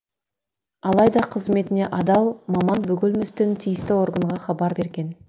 алайда қызметіне адал маман бөгелместен тиісті органға хабар берген